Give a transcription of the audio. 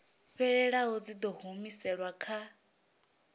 fhelelaho dzi ḓo humiselwa kha